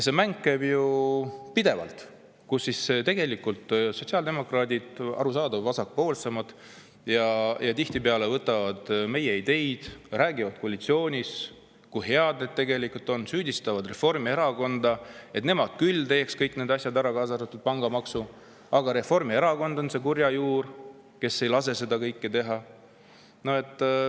See mäng käib ju pidevalt, kui sotsiaaldemokraadid – see on ka arusaadav, nad on vasakpoolsemad, tihtipeale võtavad meie ideid üle ja räägivad koalitsioonis, kui head need tegelikult on – süüdistavad Reformierakonda, et nemad küll teeks kõik need asjad ära, kaasa arvatud pangamaksu, aga Reformierakond on see kurja juur, kes ei lase seda kõike teha.